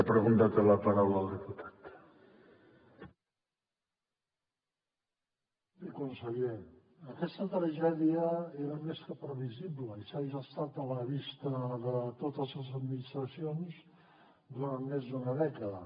bé conseller aquesta tragèdia era més que previsible i s’ha gestat a la vista de totes les administracions durant més d’una dècada